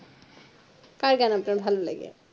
তাই গান আপনার ভালো লাগে